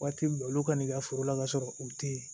Waati bɛ olu ka n'i ka foro la kasɔrɔ u tɛ yen